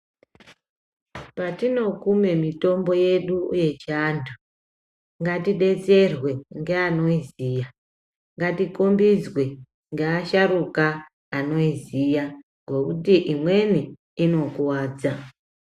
Patinokume mitombo yedu yechiantu ngatidetserwe ngeanoiziya ngatikombidzwe ngeasharuka anoiziya ngokuti imweni inokuwadza.